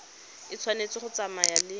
e tshwanetse go tsamaya le